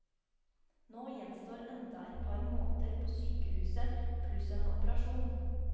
Nå gjenstår enda et par måneder på sykehuset, pluss en operasjon.